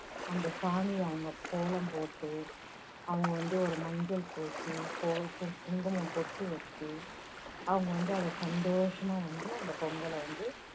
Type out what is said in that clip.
அந்த சானியில அவங்க கோலம் போட்டு, அவங்க வந்து ஒரு மஞ்சள் பூசி, குங்குமம் பொட்டு வெச்சு, அவங்க வந்து அதை சந்தோஷமா வந்து அந்தப் பொங்கலை வந்து